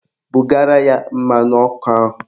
Bugara ya mmanụ ọkụ ahụ!